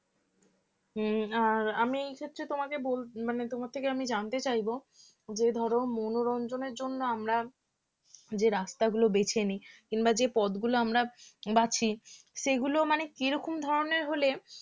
হম আর আমি এই ক্ষেত্রে তোমাকে বল মানে তোমার থেকে আমি জানতে চাইবো যে ধরো মনোরঞ্জনের জন্য আমরা যে রাস্তাগুলো বেছে নিই কিংবা যে পথগুলো আমরা বাছি সেগুলো মানে কীরকম ধরনের হলে